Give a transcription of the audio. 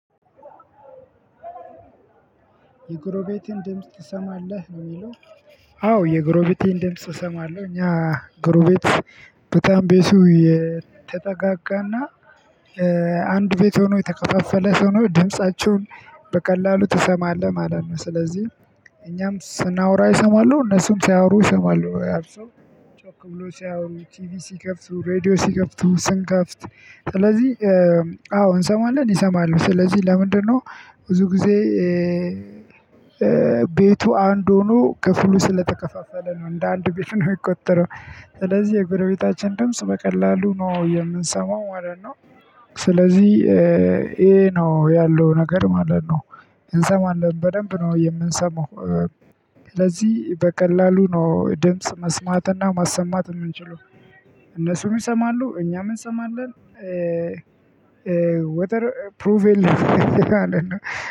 የግሮቤቴን ድምጽ ትሰማለሁ ነው የሚለው? አዎ የግሮቤቴን ድምጽ እሰማለሁ እኛ ግረቤት በጣም ቤቱ የተጠጋጋና አንድ ቤት ሆኖ የተከፋፈለ ሆኖ ድምፃቸውን በቀላሉመ ትሰማለህ ማለት ነው። ስለዚህ እኛም ስናወራ ይሰማሉ እነሱም ሲያወሩ እሰማለሁ። ጮክ ብለው ሲያወሩ ቲቪ ሲከፍቱ ሬድዮ ሲከፍቱ ስንከፍት። ስለዚህ አዎ እንሰማለን ይሰማሉ። ስለዚህ ለምንድነው ብዙ ጊዜ? ቤቱ አንድ ሆኖ ክፍሉ ስለተከፋፈለ ነው እንደ አንድ ቤት ነው የሚቆጠረው። ስለዚህ የጎረቤታችን ድምጽ በቀላሉ ነው የምንሰማው ማለት ነው። ስለዚህ ይሄ ነው ያለው ነገር ማለት ነው። እንሰማለን በደንብ ነው የምንሰማው። ስለዚህ በቀላሉ ነው ድምጽ መስማትና ማሰማት የምንችለው። እነሱም ይሰማሉ እኛም እንሰማለን። ወጠር ፕሩቬል ማለት ነው።